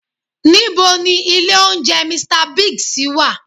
Ní bo ni ilé oúnjẹ "Mr Biggs" wà?